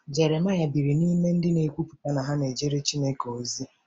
Jeremaịa biri n’ime ndị na-ekwupụta na ha na-ejere Chineke ozi.